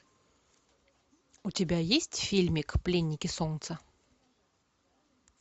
у тебя есть фильмик пленники солнца